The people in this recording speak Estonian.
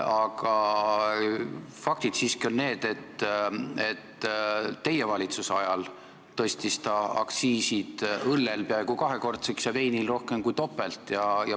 Aga fakt on see, et teie valitsuse ajal tõstis ta õlleaktsiisi peaaegu kahekordseks ja veini oma rohkem kui kahekordseks.